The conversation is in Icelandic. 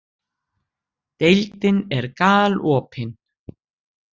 Deildin er galopin